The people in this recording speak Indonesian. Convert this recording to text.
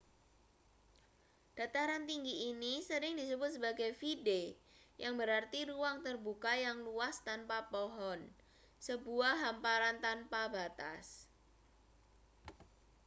dataran tinggi ini sering disebut sebagai vidde yang berarti ruang terbuka yang luas tanpa pohon sebuah hamparan tanpa batas